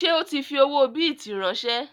Ṣé o tí fi owó bìtì ránsẹ́?